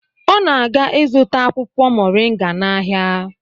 Ọ na-aga ịzụta akwụkwọ Mọrịnga n'ahịa.